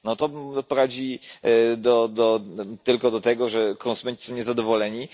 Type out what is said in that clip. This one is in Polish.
To prowadzi tylko do tego, że konsumenci są niezadowoleni.